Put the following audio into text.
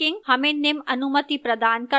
hyperlinking हमें निम्न अनुमति प्रदान करता है: